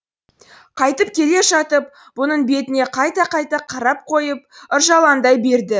қайтып келе жатып бұның бетіне қайта қайта қарап қойып ыржалаңдай берді